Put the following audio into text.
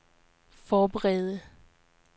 forberede